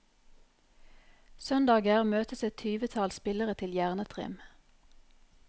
Søndager møtes et tyvetall spillere til hjernetrim.